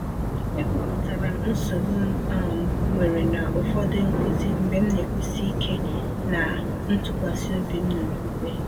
E kwuputara m nsogbu m m um nwere na ụfọdụ nkuzi mgbe m na-ekwusi ike na ntụkwasị obi m n’okwukwe.